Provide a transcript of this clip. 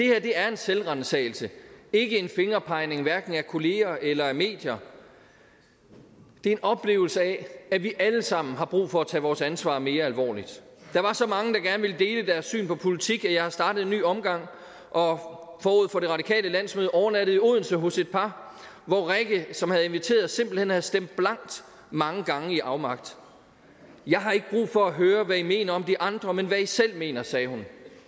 er en selvransagelse og ikke en fingerpegning af kollegaer eller medier det er en oplevelse af at vi alle sammen har brug for at tage vores ansvar mere alvorligt der var så mange der gerne ville dele deres syn på politik at jeg har startet en ny omgang og og forud for det radikale landsmøde overnattede odense hos et par og rikke som havde inviteret havde simpelt hen stemt blankt mange gange i afmagt jeg har ikke brug for at høre hvad i mener om de andre men hvad i selv mener sagde hun